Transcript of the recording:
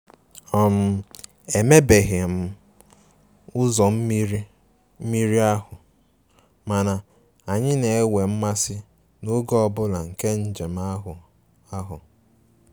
um Emebeghi um ụzọ mmiri mmiri ahụ, mana anyị na-enwe mmasị n'oge ọ bụla nke njem ahụ ahụ